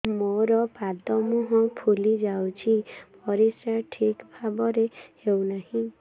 ମୋର ପାଦ ମୁହଁ ଫୁଲି ଯାଉଛି ପରିସ୍ରା ଠିକ୍ ଭାବରେ ହେଉନାହିଁ